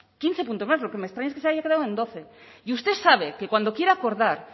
quince puntos más lo que me extraña es que se haya quedado en doce y usted sabe que cuando quiere acordar